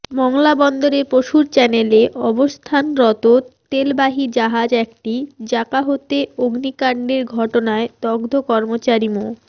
মংলা বন্দরের পশুর চ্যানেলে অবস্থানরত তেলবাহী জাহাজ এমটি জাকাহতে অগ্নিকাণ্ডের ঘটনায় দগ্ধ কর্মচারী মো